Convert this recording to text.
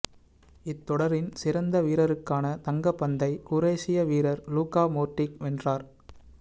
இத்தொடரின் சிறந்த வீரருக்கான தங்க பந்தை குரேஷிய வீரர் லூகா மோட்ரிக் வென்றார்